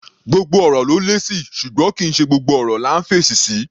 Gbogbo ọ̀rọ̀ ló lésì, ṣùgbọ́n kì í ṣe gbogbo ọ̀rọ̀ là ńf'èsì sí.